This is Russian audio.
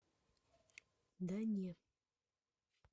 да не